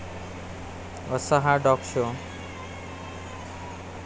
असा हा dog show!